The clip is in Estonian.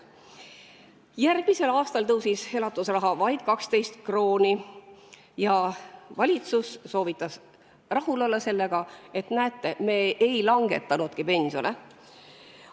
Järgmisel aastal tõusis elatusraha vaid 12 krooni ja valitsus soovitas sellega rahul olla, et näete, me ei langetanudki pensione.